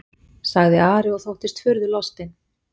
sagði Ari og þóttist furðulostinn.